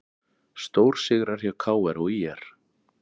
Stórsigrar hjá KR og ÍR